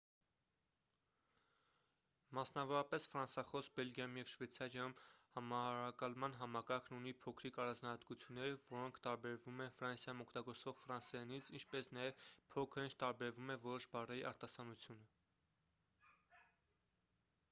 մասնավորապես ֆրանսախոս բելգիայում և շվեյցարիայում համարակալման համակարգն ունի փոքրիկ առանձնահատկություններ որոնք տարբերվում են ֆրանսիայում օգտագործվող ֆրանսերենից ինչպես նաև փոքր-ինչ տարբերվում է որոշ բառերի արտասանությունը